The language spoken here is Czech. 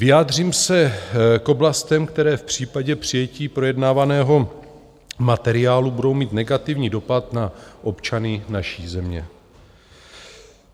Vyjádřím se k oblastem, které v případě přijetí projednávaného materiálu budou mít negativní dopad na občany naší země.